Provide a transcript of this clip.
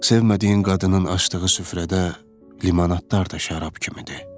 Sevmədiyi qadının açdığı süfrədə limanadlar da şərab kimidir.